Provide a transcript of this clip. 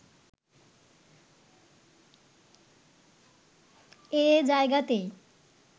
এ জায়গাতেই